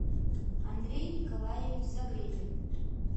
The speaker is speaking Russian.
андрей николаевич загребин